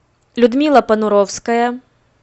людмила понуровская